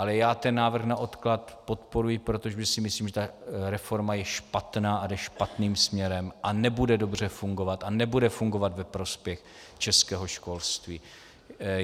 Ale já ten návrh na odklad podporuji, protože si myslím, že ta reforma je špatná a jde špatným směrem a nebude dobře fungovat a nebude fungovat ve prospěch českého školství.